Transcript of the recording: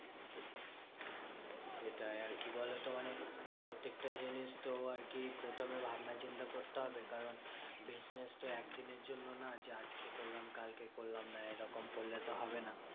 সেটাই আর কি বলতো? মানে প্রত্যেকটা জিনিস তো আরকি প্রথমে ভাবনাচিন্তা করতে হবে। কারণ business তো একদিনের জন্য নয়, আজকে করলাম কালকে করলাম না এরকম করলে তো হবে না।